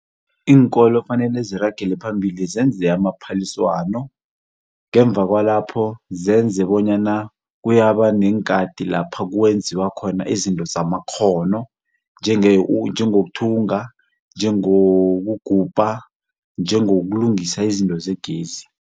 Iinkolo kufanele ziragele phambili zenze amaphaliswano. Ngemva kwalapho zenze bonyana kuyaba neenkhathi lapha kwenziwa khona izinto zamakghono njengokuthenga, njengokugubha, njengokulungisa izinto zegezi.